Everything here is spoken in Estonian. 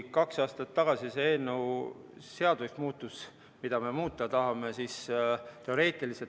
Kaks aastat tagasi sai see eelnõu, mida me muuta tahame, seaduseks.